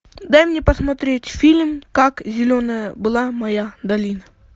дай мне посмотреть фильм как зеленая была моя долина